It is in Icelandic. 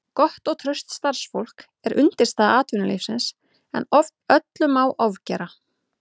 Gott og traust starfsfólk er undirstaða atvinnulífsins en öllu má ofgera.